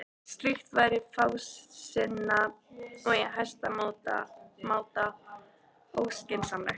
Slíkt væri fásinna og í hæsta máta óskynsamlegt.